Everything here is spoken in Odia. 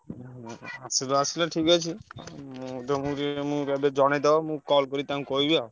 ଆସିଲ ଆସିଲ ଠିକ ଅଛି ମୁଁ କହିଲି ଜଣେଇଦବ ମୁଁ call କରି ତାଙ୍କୁ କହିବି ଆଉ।